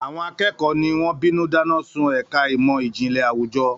Àwọn akẹ́kọ̀ọ́ tí wọ́n bínú dáná sun ẹ̀ka ìmọ̀ ìjìnlẹ̀ àwùjọ.